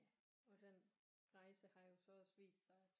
Ja og den rejse har jo så også vist sig at